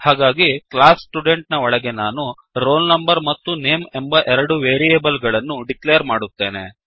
ಹಾಗಾಗಿ class student ನ ಒಳಗೆ ನಾನು ಈಗ ರೋಲ್ ನಂಬರ್ ಮತ್ತು ನೇಮ್ ಎಂಬ ಎರಡು ವೇರಿಯೇಬಲ್ ಗಳನ್ನು ಡಿಕ್ಲೇರ್ ಮಾಡುತ್ತೇನೆ